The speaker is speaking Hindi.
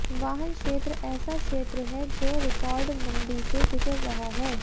वाहन क्षेत्र ऐसा क्षेत्र है जो रिकॉर्ड मंदी से गुजर रहा है